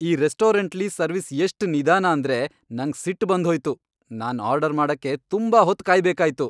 ಈ ರೆಸ್ಟೋರೆಂಟ್ಲಿ ಸರ್ವಿಸ್ ಎಷ್ಟ್ ನಿದಾನ ಅಂದ್ರೆ ನಂಗ್ ಸಿಟ್ ಬಂದ್ ಹೋಯ್ತು. ನಾನ್ ಆರ್ಡರ್ ಮಾಡಕ್ಕೆ ತುಂಬಾ ಹೊತ್ ಕಾಯ್ಬೇಕಾಯ್ತು !